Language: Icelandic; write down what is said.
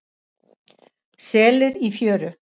Selir í fjöru.